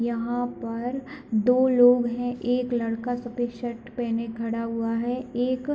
यहाँ पर दो लोग हैं एक लड़का सफ़ेद शर्ट पहने खड़ा हुआ है एक --